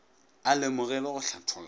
a lemoge le go hlatholla